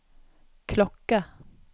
klokke